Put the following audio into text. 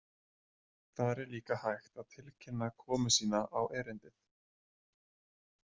Þar er líka hægt að tilkynna komu sína á erindið.